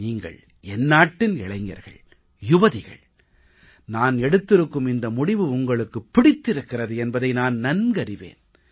நீங்கள் என்னாட்டின் இளைஞர்கள் யுவதிகள் நான் எடுத்திருக்கும் இந்த முடிவு உங்களுக்குப் பிடித்திருக்கிறது என்பதை நான் நன்கறிவேன்